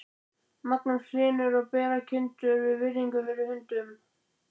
Magnús Hlynur: Og bera kindurnar virðingu fyrir hundunum?